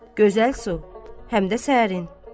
gözəl su, həm də səhərin.